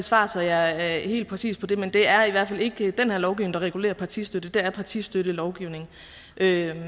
svar så jeg er helt præcis på det men det er i hvert fald ikke den her lovgivning der regulerer partistøtte det er partistøttelovgivningen